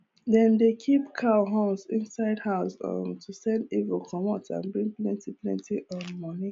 dem dey keep cow horns inside house um to send evil comot and bring plenty plenty um money